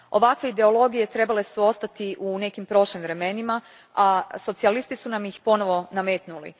Ovakve ideologije trebale su ostati u nekim prošlim vremenima, a socijalisti su nam ih ponovno nametnuli.